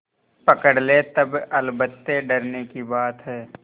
पकड़ ले तब अलबत्ते डरने की बात है